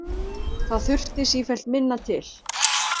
Það þurfti sífellt minna til.